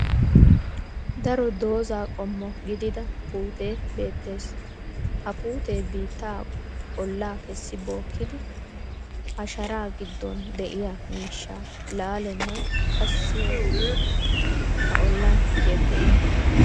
Daro doozza qommo gidida puutee beettes. Ha puutee biittaa ollaa kessi bookkidi ha shara giddon de'iyaa miishsha laalennan qassi ootti ha olan yeggeettes.